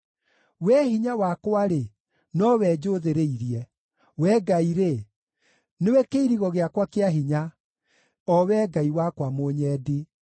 Wee Hinya wakwa-rĩ, nowe njũũthĩrĩirie; Wee Ngai-rĩ, nĩwe kĩirigo gĩakwa kĩa hinya, o Wee Ngai wakwa mũnyendi.